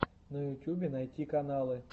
на ютюбе найти каналы